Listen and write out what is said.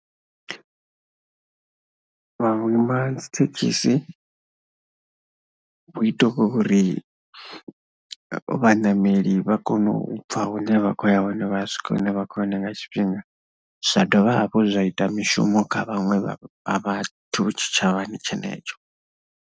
Vhuima dzi thekhisi u ita uri vhaṋameli vha kone u bva hune vha khou ya hone vha swike hune vha khou ya hone nga tshifhinga, zwa dovha hafhu zwa ita mishumo kha vhaṅwe vha vhathu tshitshavhani tshenetsho.